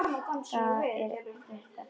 Þetta er ekkert að marka.